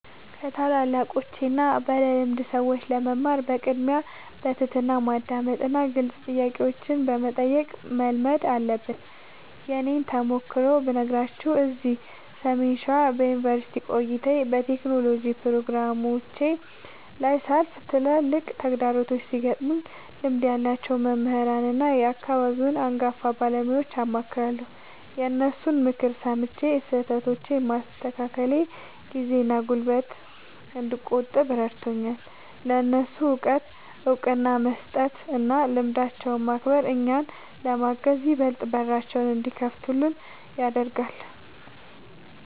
ከታላላቆችና ባለልምድ ሰዎች ለመማር በቅድሚያ በትሕትና ማዳመጥንና ግልጽ ጥያቄዎችን መጠየቅን መልመድ አለብን። የእኔን ተሞክሮ ብነግራችሁ፤ እዚህ ሰሜን ሸዋ በዩኒቨርሲቲ ቆይታዬና በቴክኖሎጂ ፕሮጀክቶቼ ላይ ሳልፍ፣ ትላልቅ ተግዳሮቶች ሲገጥሙኝ ልምድ ያላቸውን መምህራንና የአካባቢውን አንጋፋ ባለሙያዎችን አማክራለሁ። የእነሱን ምክር ሰምቼ ስህተቶቼን ማስተካከሌ ጊዜና ጉልበት እንድቆጥብ ረድቶኛል። ለእነሱ እውቀት እውቅና መስጠትና ልምዳቸውን ማክበር፣ እኛን ለማገዝ ይበልጥ በራቸውን እንዲከፍቱልን ያደርጋል።